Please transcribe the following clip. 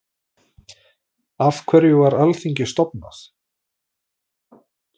Af hverju var Alþingi stofnað?